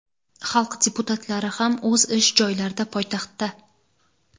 xalq deputatlari ham o‘z ish joylarida poytaxtda.